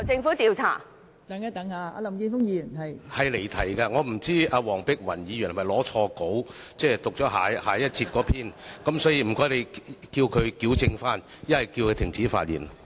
發言離題，我不知道黃碧雲議員是否拿錯了下一節辯論的發言稿，所以請你叫她矯正，否則叫她停止發言。